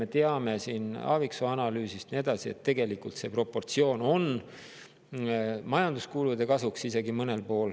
Me teame Aaviksoo analüüsist, et tegelikult see proportsioon on mõnel pool hoopis majanduskulude kasuks.